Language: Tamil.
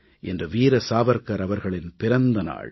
இன்று வீர சாவர்கர் அவர்களின் பிறந்த நாள்